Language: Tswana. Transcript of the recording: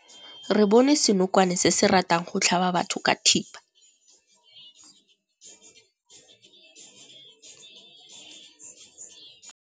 Re bone senokwane se se ratang go tlhaba batho ka thipa.